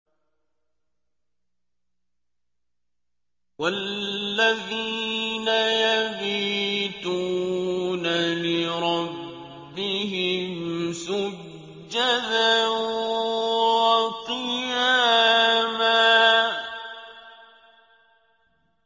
وَالَّذِينَ يَبِيتُونَ لِرَبِّهِمْ سُجَّدًا وَقِيَامًا